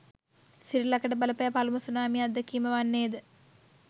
සිරිලකට බලපෑ පළමු සුනාමි අත්දැකීම වන්නේද?